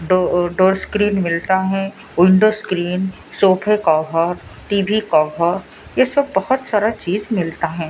दो अ दो स्क्रीन मिलता है विंडो स्क्रीन सोफे कवर टी_वी कवर ये सब बहोत सारा चीज मिलता हैं।